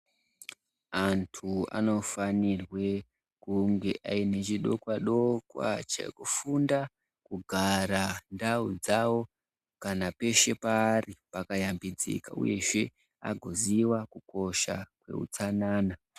Antu ano fanirwe kunge aine chidokwa dokwa cheku funda kugara ndau dzavo kana peshe paari paka yambidzika uyezve ago ziva kukosha kwe hutsanana.